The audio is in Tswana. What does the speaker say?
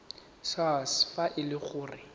sars fa e le gore